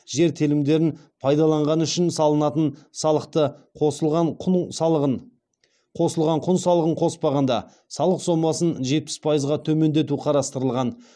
жер телімдерін пайдаланғаны үшін салынатын салықты қосылған құн салығын қоспағанда салық сомасын жетпіс пайызға төмендету қарастырылған